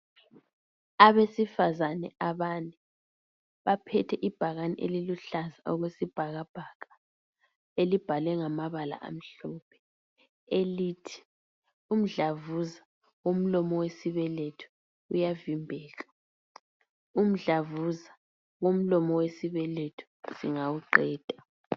Abasifazane abane baphethe ibhakane eliluhlaza okwesibhakabhaka elibhalwe ngamabala amhlophe elithi umdlavuza womlomo wesibeletho uyavimbeka, umdlavuza womlomo wesibeletho siyawuqeda.